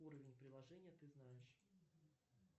уровень приложения ты знаешь